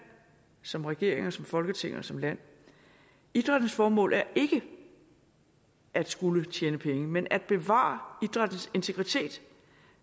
som regering som folketing og som land idrættens formål er ikke at skulle tjene penge men at bevare idrættens integritet